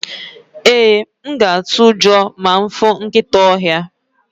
ee, m ga atu ujo ma m fu nkita ohia